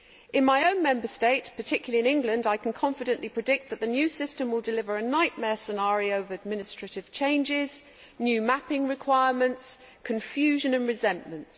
In my own Member State, particularly in England, I can confidently predict that the new system will deliver a nightmare scenario of administrative changes, new mapping requirements, confusion and resentment.